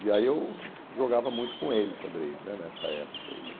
E aí eu jogava muito com ele xadrez né nessa época. E